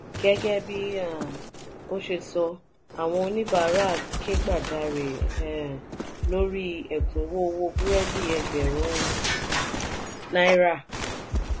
gẹgẹ bí um o ṣe sọ àwọn oníbàárà ke gbajare um lórí ekunwo owó burẹdi ẹgbẹrun um náírà.